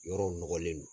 Yɔrɔw nɔgɔlen don